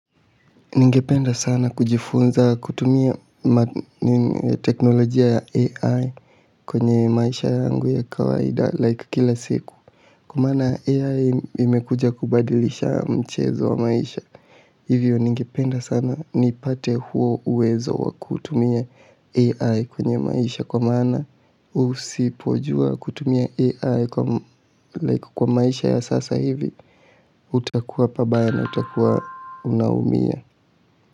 Ningependa sana kujifunza kutumia teknolojia ya AI kwenye maisha yangu ya kawaida like kila siku. Unaona AI imekuja kubadilisha mchezo wa maisha. Hivyo ningependa sana nipate huo uwezo wa kutumia AI kwenye maisha kwa maana usipojua kutumia AI kwa like kwa maisha ya sasa hivi utakuwa pabaya na utakuwa unaumia.